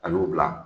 A y'u bila